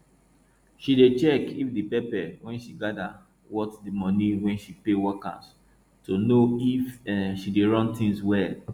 she dey check if the pepper wey she gather worth di money wey she pay workers to know if um she dey run things well